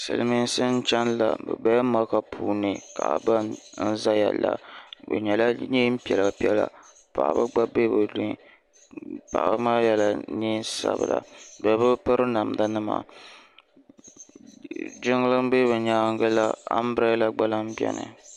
Silimiinsi n chɛni la bi bɛla maka puuni kaba n zaya la bi yela nɛɛn piɛla piɛla paɣaba gba bɛ bini paɣaba maa yela nɛɛn sabila bibi piri namda nima jiŋli n bɛ bi yɛanga la ambrala gba lahi bɛni.